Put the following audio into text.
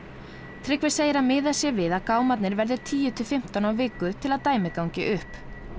Tryggvi segir að miðað sé við að gámarnir verði tíu til fimmtán á viku til að dæmið gangi upp